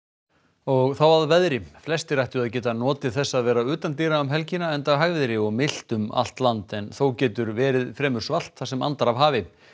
og þá að veðri flestir ættu að geta notið þess að vera utandyra um helgina enda hægviðri og milt um allt land en þó getur verið fremur svalt þar sem andar af hafi